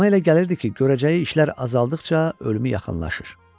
Ona elə gəlirdi ki, görəcəyi işlər azaldıqca ölümü yaxınlaşır.